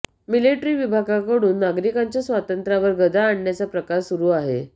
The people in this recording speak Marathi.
मिलिट्री विभागाकडून नागरिकांच्या स्वातंत्र्यावर गदा आणण्याचा प्रकार सुरू आहे